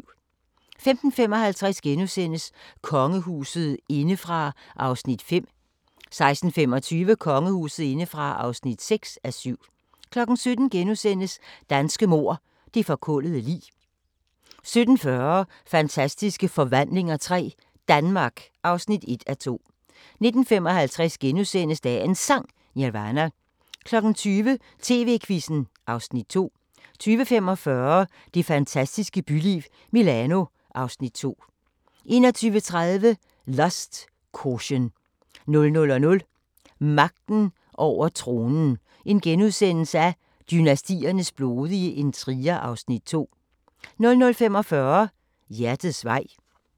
15:55: Kongehuset indefra (5:7)* 16:25: Kongehuset indefra (6:7) 17:00: Danske mord – Det forkullede lig * 17:40: Fantastiske forvandlinger III – Danmark (1:2) 19:55: Dagens Sang: Nirvana * 20:00: TV-Quizzen (Afs. 2) 20:45: Det fantastiske byliv – Milano (Afs. 2) 21:30: Lust, Caution 00:00: Magten over tronen – Dynastiernes blodige intriger (Afs. 2)* 00:45: Hjertets vej